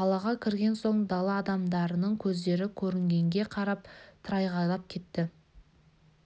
қалаға кірген соң дала адамдарының көздері көрінгенге қарап тырағайлап кетті